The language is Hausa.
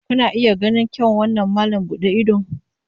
Kuna iya ganin irin kyawun wannan malam buɗe idon?